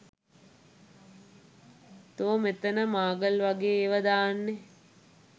තෝ මෙතන මාගල් වගේ ඒවා දාන්නේ